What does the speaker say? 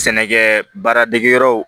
Sɛnɛkɛ baaradegeyɔrɔw